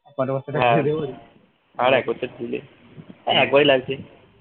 আর এক বছর দিলে ই একবারই লাগছে